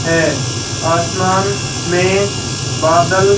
है आसमान में बादल--